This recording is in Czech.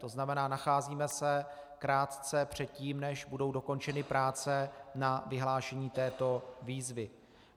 To znamená, nacházíme se krátce před tím, než budou dokončeny práce na vyhlášení této výzvy.